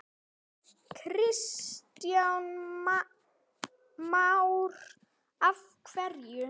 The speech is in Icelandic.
Kristján Már: Af hverju?